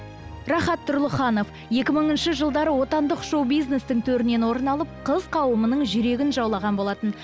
рахат тұрлыханова екі мыңыншы жылдары отандық шоу бизнестің төрінен орын алып қыз қауымының жүрегін жаулаған болатын